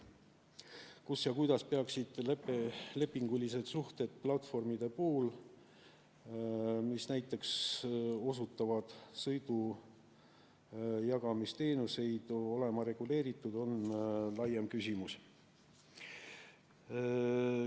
Kus ja kuidas peaksid lepingulised suhted platvormide puhul, mis näiteks osutavad sõidujagamisteenuseid, olema reguleeritud, on laiem küsimus.